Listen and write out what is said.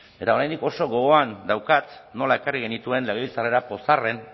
eta oraindik oso gogoan daukat nola ekarri genituen legebiltzarrera pozarren